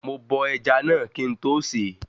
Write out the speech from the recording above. Mo bọ ẹja náà kín n tó sèé